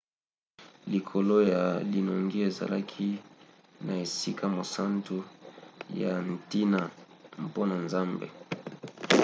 likolo ya linongi ezalaki na esika mosantu ya ntina mpona nzambe